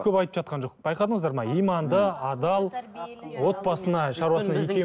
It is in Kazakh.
көп айтып жатқан жоқ байқадыңыздар ма иманды адал отбасына